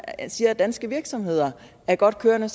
siger at danske virksomheder er godt kørende